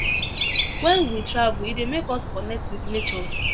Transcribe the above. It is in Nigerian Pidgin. When we travel e dey make us connect with nature